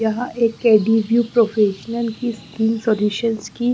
यहाँ एक Cadiveu professional की स्किन सॉल्यूशनस की--